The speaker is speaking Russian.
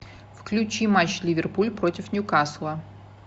включи матч ливерпуль против ньюкасла